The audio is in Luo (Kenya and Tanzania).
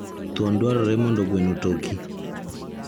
Thuon dwarore mondo gweno otoki.